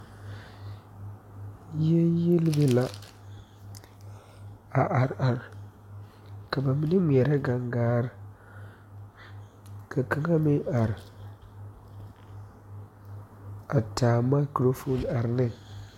Yiele yielibe la a are are ka bibilii ngmeɛrɛ gaŋgaare ka kaŋa meŋ are a taa mikrofoon are ne.